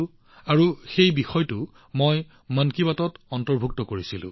মই তেওঁৰ পৰাই শিকিছিলো আৰু ইয়াক মন কী বাতত অন্তৰ্ভুক্ত কৰিছিলো